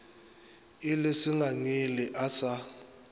e le sengangele a sa